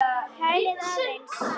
Kælið aðeins.